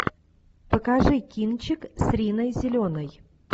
покажи кинчик с риной зеленой